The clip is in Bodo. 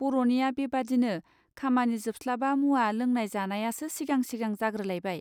बर'निया बेबादिनो खामानि जोबस्लाबा मुवा लोंनाय जानायासो सिगां सिगां जाग्रोलायबाय.